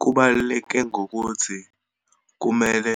Kubaluleke ngokuthi, kumele